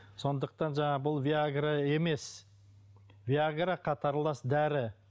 сондықтан жаңағы бұл виагра емес виагра қатарлас дәрі